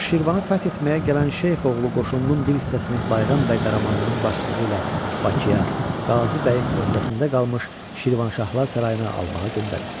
Axı Şirvanı fəth etməyə gələn şeyx oğlu qoşununun bir hissəsini Bayram bəy Qaramanlının başçılığı ilə Bakıya, Qazi bəyin öhdəsində qalmış Şirvanşahlar sarayına almağa göndərib.